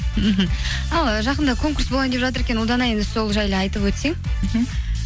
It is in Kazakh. мхм ал жақында конкурс болайын деп жатыр екен ұлдана енді сол жайлы айтып өтсең мхм